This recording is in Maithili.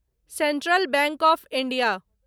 central bank of India